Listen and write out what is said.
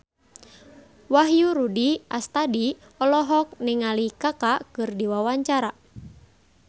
Wahyu Rudi Astadi olohok ningali Kaka keur diwawancara